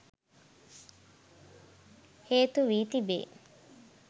හේතු වී තිබේ